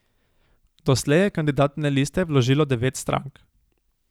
Doslej je kandidatne liste vložilo devet strank.